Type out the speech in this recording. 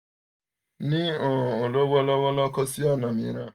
ni um lọwọlọwọ ko si ọna miiran